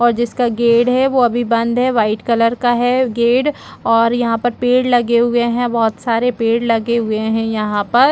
और जिसका गेड है वो अभी बंद है वाइट कलर का है गेड और यहाँ पे पेड़ लगे हुए है बहोत सारे पेड़ लगे हुए है यहाँ पर --